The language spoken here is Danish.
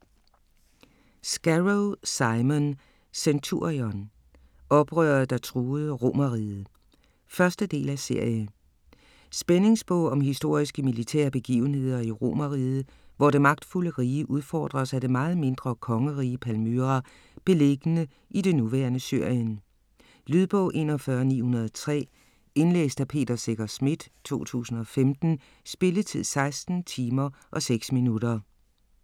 Scarrow, Simon: Centurion: oprøret der truede Romerriget 1. del af serie. Spændingsbog om historiske militære begivenheder i Romeriget, hvor det magtfulde rige udfordres af det meget mindre kongerige Palmyra beliggende i det nuværende Syrien. Lydbog 41903 Indlæst af Peter Secher Schmidt, 2015. Spilletid: 16 timer, 6 minutter.